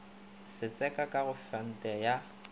setseka ka go fante ya